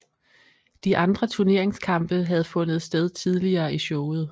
De andre turneringskampe havde fundet sted tidligere i showet